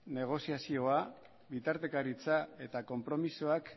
negoziazioa bitartekaritza eta konpromisoak